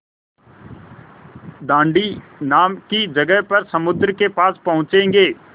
दाँडी नाम की जगह पर समुद्र के पास पहुँचेंगे